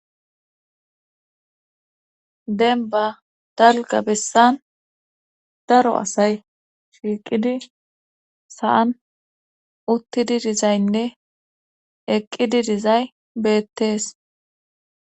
Dembba dalga bessan daro asay shiiqidi saan uttidi dizaynne eqqidi dizay beettees.